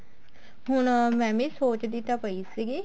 ਹੁਣ ਮੈਂ ਵੀ ਸੋਚਦੀ ਤਾਂ ਪਈ ਸੀ